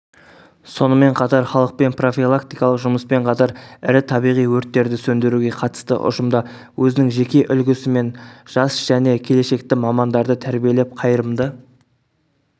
сонымен қатар халықпен профилактикалық жұмыспен қатар ірі табиғи өрттерді сөндіруге қатысты ұжымда өзінің жеке үлгісімен жас және келешекті мамандарды тәрбиелеп қайырымды